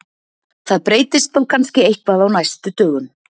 Það breytist þó kannski eitthvað á næstu dögum.